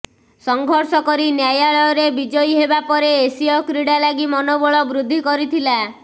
ସଂଘର୍ଷ କରି ନ୍ୟାୟାଳୟରେ ବିଜୟୀ ହେବାପରେ ଏସୀୟ କ୍ରୀଡ଼ା ଲାଗି ମନୋବଳ ବୃଦ୍ଧି କରିଥିଲା